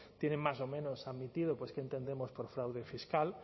tienen más o menos admitido pues qué entendemos por fraude fiscal